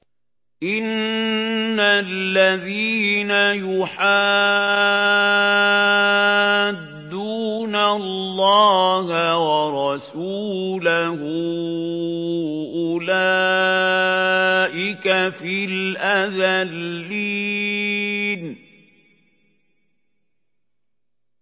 إِنَّ الَّذِينَ يُحَادُّونَ اللَّهَ وَرَسُولَهُ أُولَٰئِكَ فِي الْأَذَلِّينَ